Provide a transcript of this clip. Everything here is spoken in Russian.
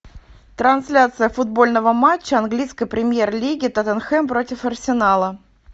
трансляция футбольного матча английской премьер лиги тоттенхэм против арсенала